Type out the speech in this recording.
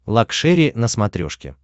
лакшери на смотрешке